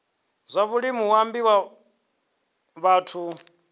zwa vhulimi hu ambiwa vhathu